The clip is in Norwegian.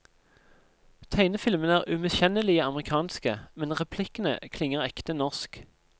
Tegnefilmene er umiskjennelig amerikanske, men replikkene klinger ekte norsk.